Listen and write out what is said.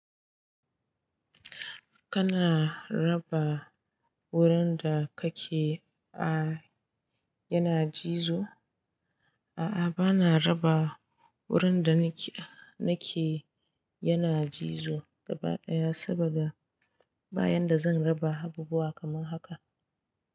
Kana raba wurin da kake a yana cizo? A'a bana raba wurin da nike ake yana cizo gaba ɗaya saboda ba yanda zan raba abubuwa kaman haka.